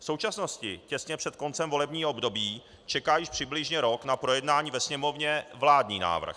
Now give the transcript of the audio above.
V současnosti, těsně před koncem volebního období, čeká již přibližně rok na projednání ve Sněmovně vládní návrh.